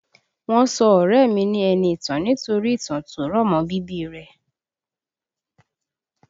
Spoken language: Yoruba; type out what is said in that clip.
Wọ́n sọ ọ̀rẹ́ ẹ mi ni Ẹniìtàn nítorí ìtàn tó rọ̀ mọ́ bíbí i rẹ̀